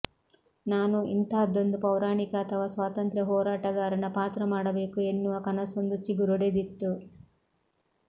ನಾನೂ ಇಂಥಾದ್ದೊಂದು ಪೌರಾಣಿಕ ಅಥವಾ ಸ್ವಾತಂತ್ರ್ಯ ಹೋರಾಟಗಾರನ ಪಾತ್ರ ಮಾಡಬೇಕು ಎನ್ನುವ ಕನಸೊಂದು ಚಿಗುರೊಡೆದಿತ್ತು